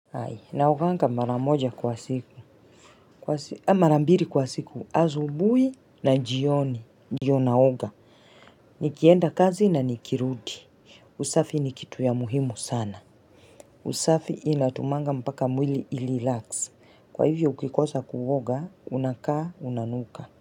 Hai, naoganga mara moja kwa siku, aaah mara mbili kwa siku, asubui na jioni, ndio naoga, nikienda kazi na nikirudi. Usafi ni kitu ya muhimu sana. Usafi inatumanga mpaka mwili irilax, kwa hivyo ukikosa kuoga, unakaa, unanuka.